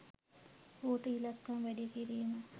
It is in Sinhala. ඌට ඉලක්කම් වැඩි කිරීම